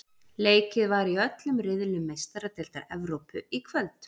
Leikið var í öllum riðlum Meistaradeildar Evrópu í kvöld.